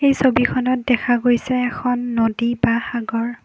এই ছবিখনত দেখা গৈছে এখন নদী বা সাগৰ।